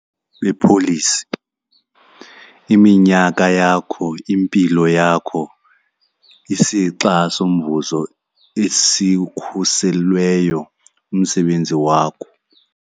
lwepholisi, iminyaka yakho, impilo yakho, isixa somvuzo esikhuselweyo, umsebenzi wakho.